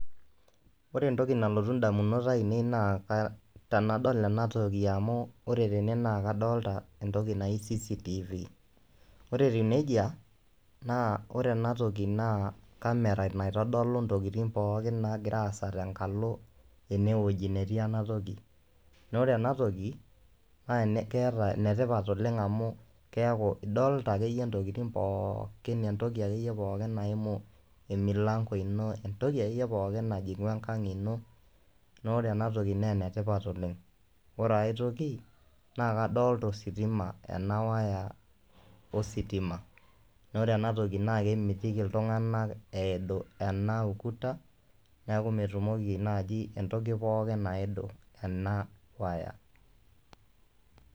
Ore entoki nalotu ndamunot ainei naa ka tenadol ena toki amu ore tene naake adolta entoki naji CCTV, ore etiu neija naa ore ena toki naa cs] camera naitodolu ntokitin pookin naagira aasa tenkalo ene wueji netii ena toki. Naa ore ena toki keeta ene tipat oleng' amu keeku idolta akeyie ntokitin pookin entoki akeyie pookin naimu emilang'o ino entoki ake yie pookin najing'u enkang' ino naa ore ena toki nee ene tipat oleng'. Ore ai toki naake adolta ositima ena waya ositima naa ore ena toki naake emitiki iltung'anak eidu ena ukuta, neeku metumoki naaji entoki pookin aidu ena waya.